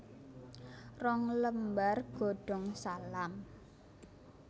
Rong lembar godong salam